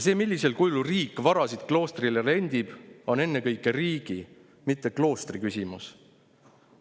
See, millisel kujul riik varasid kloostrile rendib, on ennekõike riigi, mitte kloostri küsimus.